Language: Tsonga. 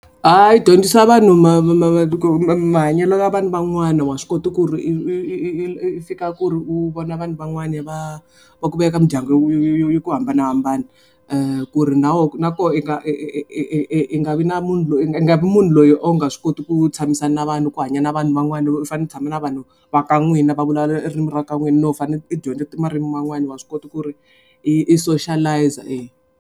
Ha yi dyondzisa vanhu mahanyelo ya vanhu van'wana wa swi kota ku ri i fika ku ri u vona vanhu van'wana va va ku veka mindyangu yi ku hambanahambana. Ku ri nawu na koho yi nga i nga vi na munhu loyi a nga vi munhu loyi o nge swi koti ku tshamisana na vanhu ku hanya na vanhu van'wana loko u fanele u tshama na vanhu va ka n'wina va vulavula ririmi ra ka n'wina no fane i dyondza ti marimi yan'wani wa swi kota ku ri i i soshalayiza .